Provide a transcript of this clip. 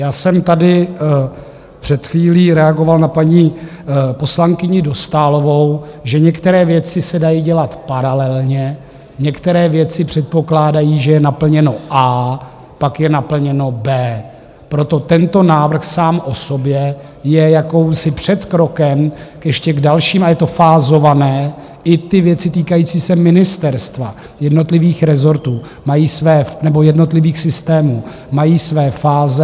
Já jsem tady před chvílí reagoval na paní poslankyni Dostálovou, že některé věci se dají dělat paralelně, některé věci předpokládají, že je naplněno A, pak je naplněno B. Proto tento návrh sám o sobě je jakýmsi předkrokem ještě k dalším a je to fázované, i ty věci týkající se ministerstva, jednotlivých rezortů nebo jednotlivých systémů, mají své fáze.